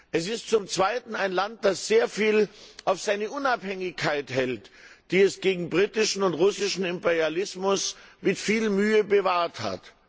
Es ist zum Zweiten ein Land, das sehr viel auf seine Unabhängigkeit hält, die es gegen britischen und russischen Imperialismus mit viel Mühe bewahrt hat.